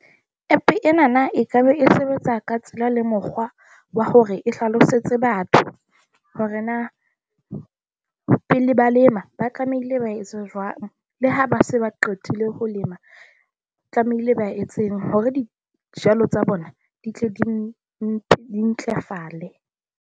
App enana ekaba e sebetsa ka tsela le mokgwa wa hore e hlalosetse batho hore na pele ba lema, ba tlamehile ba etsa jwang. Le ha ba se ba qetile ho lema tlamehile ba etseng hore dijalo tsa bona di tle di ntlafale.